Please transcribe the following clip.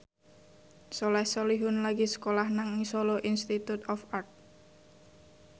Soleh Solihun lagi sekolah nang Solo Institute of Art